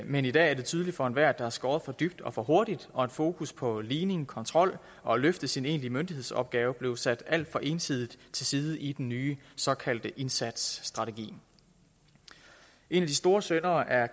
men i dag er det tydeligt for enhver at der er skåret for dybt og for hurtigt og at fokus på ligning kontrol og at løfte sin egentlige myndighedsopgave blev sat alt for ensidigt til side i den nye såkaldte indsatsstrategi en af de store syndere er